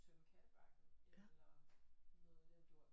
Tømme kattebakken eller noget i den dur